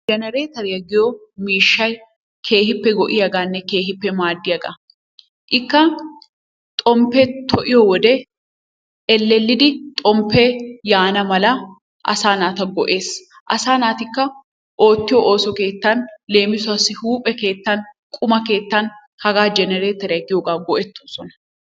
jenereteriyaa giyoo miishshay keehippe go"iyaaganne keehippe maaddiyaagaa. Ikka xomppee to"iyoo wode ellelidi xomppee yaana mala asaa naata go'ees. Asaa naatikka oottiyoo ooso keettan leemisuwaasi huuphphe keettan quma keettaan hagaa jenereteriyaa giyoogaa go"ettoosona.